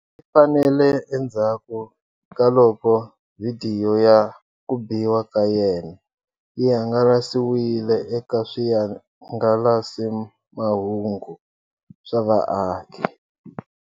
Leyi faneleke endzhaku kaloko vhidiyo ya ku biwa ka yena yi hangalasiwile eka swihangalasamahungu swa vaaki.